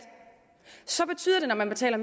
vi taler